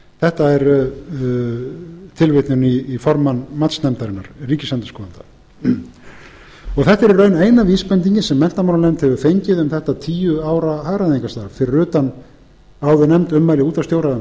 þetta er tilvitnun í formann matsnefndarinnar ríkisendurskoðanda þetta er í raun eina vísbendingin sem menntamálanefnd hefur fengið um þetta tíu ára hagræðingarstarf fyrir utan áðurnefnd ummæli útvarpsstjóra um